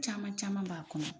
Caman caman b'a kɔnɔ.